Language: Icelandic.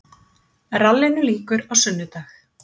Rallinu lýkur á sunnudag